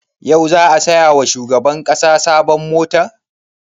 Yau za a saya wa shugaban ƙasa sabon mota?